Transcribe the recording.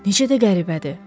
Necə də qəribədir.